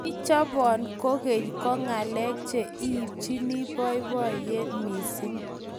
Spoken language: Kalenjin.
Kichobon kokeny ko ngalek che ibchine boiboiye mising.